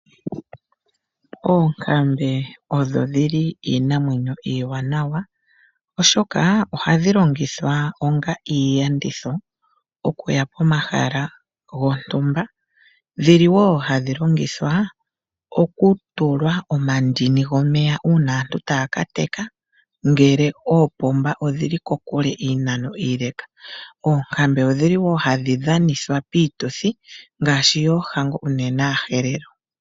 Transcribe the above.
Oonkambe odho iinamwenyo iiwanawa, oshoka ohadhi longithwa onga iiyenditho okuya pomahala gontumba nohadhi longithwa wo okutulwa omandini gomeya uuna aantu taya ka teka ngele oopomba odhi li kokule, ano iinano iile. Oonkambe ohadhi dhanithwa wo piituthi ngaashi yoohango, unene kAaherero.